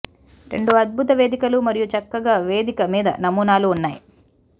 రెండు అద్భుత వేదికలు మరియు చక్కగా వేదిక మీద నమూనాలు ఉన్నాయి